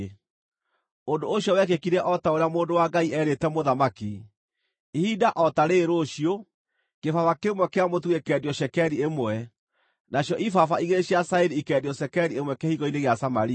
Ũndũ ũcio wekĩkire o ta ũrĩa mũndũ wa Ngai eerĩte mũthamaki: “Ihinda o ta rĩĩrĩ rũciũ, kĩbaba kĩmwe kĩa mũtu gĩkeendio cekeri ĩmwe, nacio ibaba igĩrĩ cia cairi ikeendio cekeri ĩmwe kĩhingo-inĩ gĩa Samaria.”